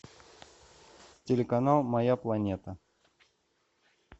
телеканал моя планета